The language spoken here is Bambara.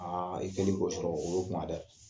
Aa i kelen k'o sɔrɔ o ye gan dɛ!